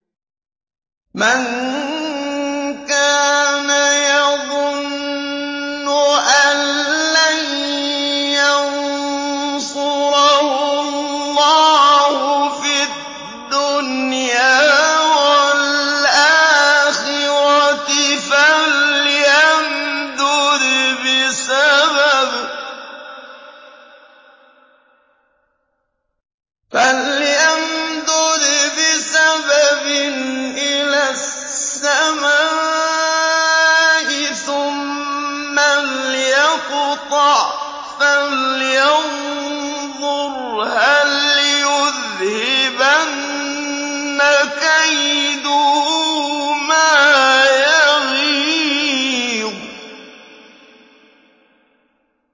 مَن كَانَ يَظُنُّ أَن لَّن يَنصُرَهُ اللَّهُ فِي الدُّنْيَا وَالْآخِرَةِ فَلْيَمْدُدْ بِسَبَبٍ إِلَى السَّمَاءِ ثُمَّ لْيَقْطَعْ فَلْيَنظُرْ هَلْ يُذْهِبَنَّ كَيْدُهُ مَا يَغِيظُ